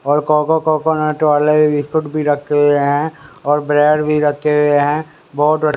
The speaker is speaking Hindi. और कोको कोकोनट वाले बिस्कुट भी रखे हुए हैं और ब्रेड भी रखे हुए हैं बहुत--